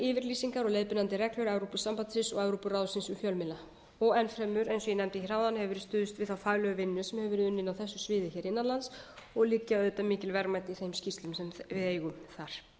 yfirlýsingar og leiðbeinandi reglur evrópusambandsins og evrópuráðsins um fjölmiðla og enn fremur eins og ég nefndi áðan hefur verið stuðst við þá faglegu vinnu sem hefur verið unnin á þessu sviði innan lands og liggja auðvitað mikil verðmæti í þeim skýrslum sem við eigum þar